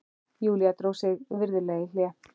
Júlía dró sig virðulega í hlé.